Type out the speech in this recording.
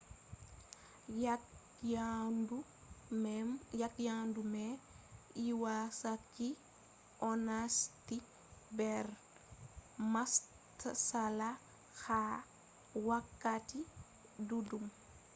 yaa’ke yadu mai lwasaki onasti nder matsala ha wakkati ɗuɗɗum